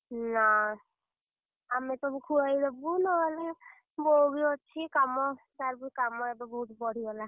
ନା, ଆମେ ସବୁ ଖୁଆଇଦବୁ ନହେଲେ ବୋଉବି ଅଛି କାମ, ତାରବି କାମ ଏବେ ବହୁତ୍ ବଢିଗଲା।